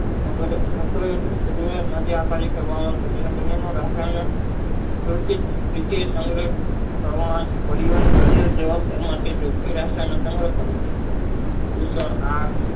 તેના બને ના રસાયણો ભૌતિક રીતે સંગ્રહ